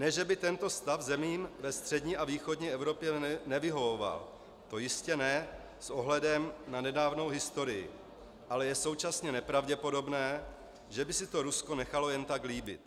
Ne že by tento stav zemím ve střední a východní Evropě nevyhovoval, to jistě ne s ohledem na nedávnou historii, ale je současně nepravděpodobné, že by si to Rusko nechalo jen tak líbit.